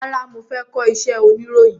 Rárá, mo fẹ́ kọ iṣẹ́ oniroyin.